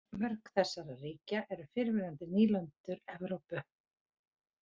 Mörg þessara ríkja eru fyrrverandi nýlendur Evrópu.